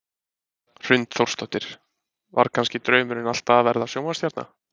Hrund Þórsdóttir: Var kannski draumurinn alltaf að verða sjónvarpsstjarna?